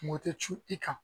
Kungo tɛ cun i kan